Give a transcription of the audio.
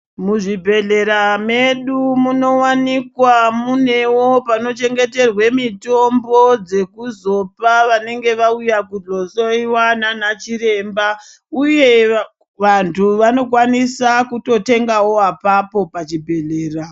Muzvibhedhlera medu munowanikwa munewo panochengeterwa mitombo dzekuzopa vanenge vauya kuzohloiwa nana chiremba uye vantu vanokwanisawo kutotenga ipapo pazvibhedhlera.